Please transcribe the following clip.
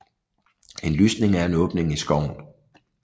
En lysning er en åbning i skoven